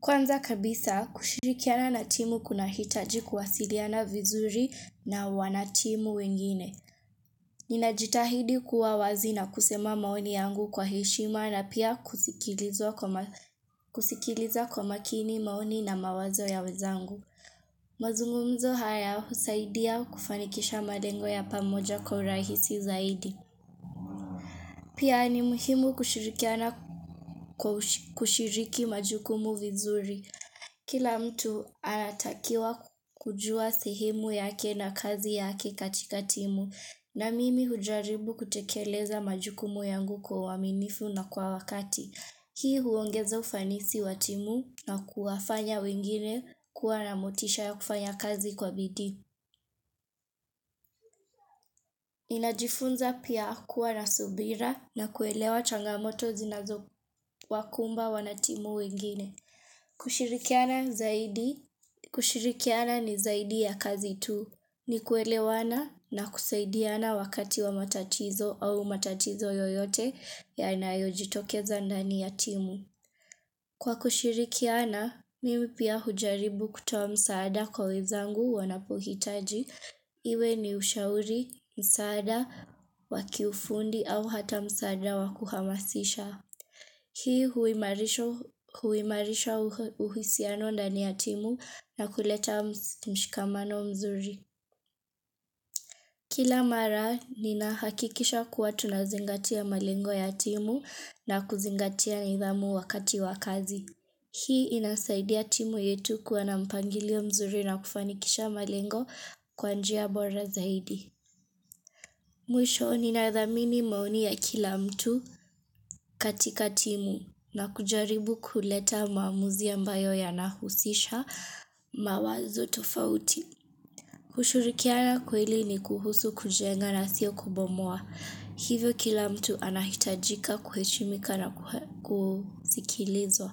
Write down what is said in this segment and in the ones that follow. Kwanza kabisa, kushirikiana na timu kunahitaji kuwasiliana vizuri na wanatimu wengine. Ninajitahidi kua wazi na kusema maoni yangu kwa heshima na pia kusikilizwa kwa, kusikiliza kwa makini maoni na mawazo ya wezangu. Mazungumzo haya husaidia kufanikisha malengo ya pamoja kwa urahisi zaidi. Pia ni muhimu kushirikiana, kwa, kushiriki majukumu vizuri. Kila mtu ana takiwa kujua sehemu yake na kazi yake katika timu na mimi hujaribu kutekeleza majukumu yangu kwa uaminifu na kwa wakati. Hii huongeza ufanisi wa timu na kuwafanya wengine kuwa na motisha ya kufanya kazi kwa bidii. Ninajifunza pia kuwa na subira na kuelewa changamoto zinazowakumba wanatimu wengine. Kushirikiana zaidi. Kushirikiana ni zaidi ya kazi tu. Ni kuelewana na kusaidiana wakati wa matatizo au matatizo yoyote yanayo jitokeza ndani ya timu. Kwa kushirikiana, mimi pia hujaribu kutoa msaada kwa wenzangu wanapohitaji. Iwe ni ushauri msaada wa kiufundi au hata msaada wa kuhamasisha. Hii huimarisha uhisiano ndani ya timu na kuleta mshikamano mzuri Kila mara ninahakikisha kuwa tunazingatia malengo ya timu na kuzingatia nidhamu wakati wa kazi Hii inasaidia timu yetu kuwa na mpangilio mzuri na kufanikisha malengo kwa njia bora zaidi Mwisho nina dhamini maoni ya kila mtu katika timu na kujaribu kuleta maamuzi ambayo yanahusisha mawazo tofauti. Kushirikiana kweli ni kuhusu kujenga na sio kubomoa. Hivyo kila mtu anahitajika kuheshimika na kusikilizwa.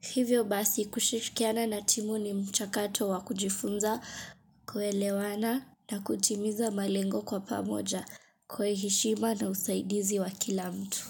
Hivyo basi kushirikiana na timu ni mchakato wa kujifunza kuelewana na kutimiza malengo kwa pamoja kwa heshima na usaidizi wa kila mtu.